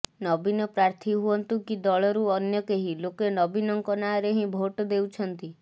ନବୀନ ପ୍ରାର୍ଥୀ ହୁଅନ୍ତୁ କି ଦଳରୁ ଅନ୍ୟ କେହି ଲୋକେ ନବୀନଙ୍କ ନାଁରେ ହିଁ ଭୋଟ୍ ଦେଉଛନ୍ତି